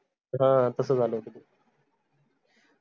हां तस झालं होत ते